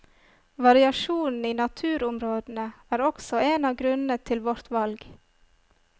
Variasjonen i naturområdene er også en av grunnene til vårt valg.